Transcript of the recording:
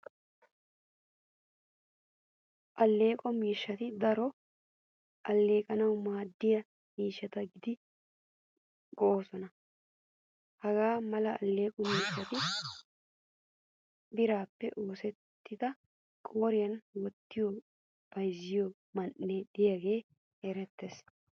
Allequwaa miishshati daroto alleqanawu maaddiyaa miishshata gididi go'osona. Hagaa mala alleqo miishshati birappe oosettida qoriyan wottiyo bayzziyo man'iyan de'iyage erettees.